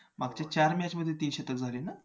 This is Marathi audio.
मागच्या चार match मध्ये तीन शतक झाली ना